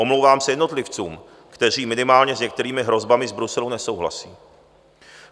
Omlouvám se jednotlivcům, kteří minimálně s některými hrozbami z Bruselu nesouhlasí.